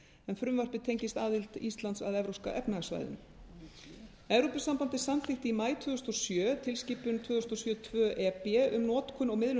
en frumvarpið tengist aðild íslands að evrópska efnahagssvæðinu evrópusambandið samþykkti í maí tvö þúsund og sjö tilskipun tvö þúsund og sjö tvö e b um notkun og miðlun